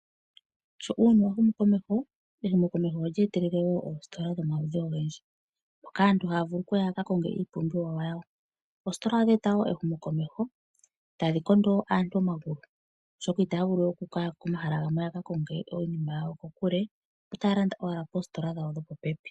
Sho uuyuni wa humu komeho, ehumo komeho olye eta oositola dhomaludhi ogendji moka aantu haya vulu okuka konga iipumbiwa yawo. Oositola odhe eta wo ehumo komeho, tadhi kondo wo aantu omagulu oshoka itaya vulu we okuya komahala gamwe ya ka konge iinima yawo kokule, otaya landa ashike poositola dhawo dhopopepi.